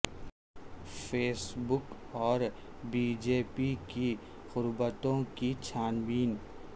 face بک اور B J P کی قربتوں کی چھان بین